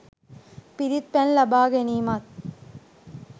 පිරිත් පැන් ලබා ගැනීමත්,